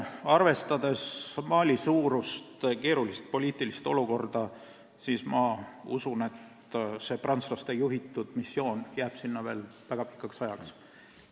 Arvestades Mali suurust ja keerulist poliitilist olukorda, ma usun, et see prantslaste juhitav missioon jääb sinna veel väga pikaks ajaks.